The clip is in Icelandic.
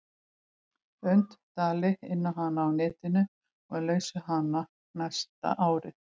und dali inná hana á netinu og er laus við hana næsta árið.